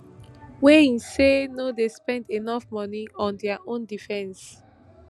wey im say no dey spend enough money on dia own defence